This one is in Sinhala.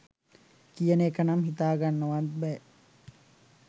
කියන එක නම් හිතාගන්නවත් බෑ.